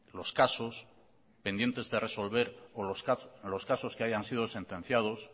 los casos pendientes de resolver o los casos que hayan sido sentenciados